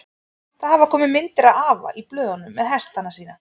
Það hafa komið myndir af afa í blöðunum með hestana sína.